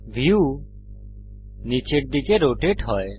view নীচের দিকে rotate হয়